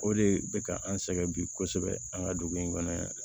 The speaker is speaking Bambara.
O de bɛ ka an sɛgɛn bi kosɛbɛ an ka dugu in kɔnɔ yan